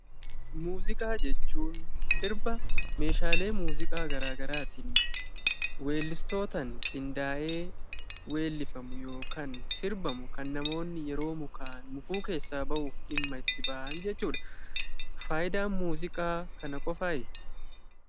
Muuziqaa jechuun sirba meeshaalee muuziqaa garaa garaatiin weellistootaan qindaa'ee weellifamu yookan sirbamu kan namoonni yeroo mukaa'an mukuu keessaa ba'uuf dhimma itti ba'an jechuudha. Faayidaan muuziqaa kana qofaayi?